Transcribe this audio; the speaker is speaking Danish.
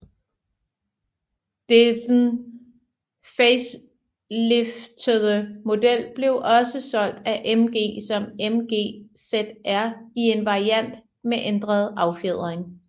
Dedn faceliftede model blev også solgt af MG som MG ZR i en variant med ændret affjedring